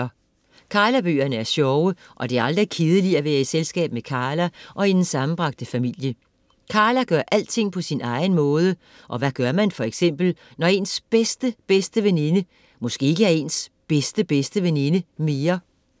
Karla bøgerne er sjove og det er aldrig kedeligt at være i selskab med Karla og hendes sammenbragte familie. Karla gør alting på sin egen måde og hvad gør man for eksempel når ens bedste-bedste veninde måske ikke er ens bedste-bedste-veninde mere?